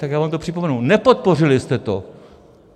Tak já vám to připomenu, nepodpořili jste to.